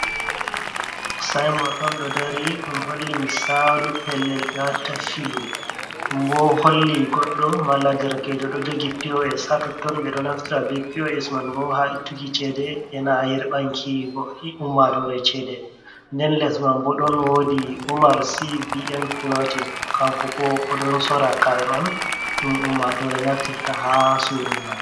Sainbot, ɗon ɗo dari, ɗum holli misalu pellel ɓewatta filu, ɗum boo holli godɗo malla derkejo doo jogii POS hatotton, ɓe ɗoo naftira be POS man boo ha ittuki cede, e na yerɓanki banki ummatore chede, nden les man boo ɗon wodi omar CBN cloutin kanko boo odon sorra kare on, ɗum ummatore naftirta ha surungal.